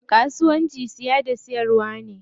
Kasuwanci siya da siyarwa ne.